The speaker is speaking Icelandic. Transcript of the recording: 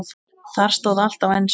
Þar stóð allt á ensku.